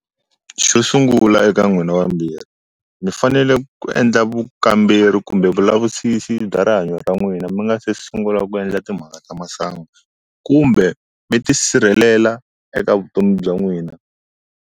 Xo sungula eka n'wina vambirhi mi fanele ku endla vukamberi kumbe vulavisisi bya rihanyo ra n'wina mi nga se sungula ku endla timhaka ta masangu kumbe mi ti sirhelela eka vutomi bya n'wina.